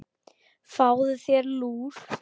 Fáðu þér lúr.